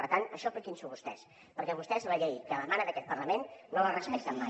per tant això apliquin s’ho vostès perquè vostès la llei que emana d’aquest parlament no la respecten mai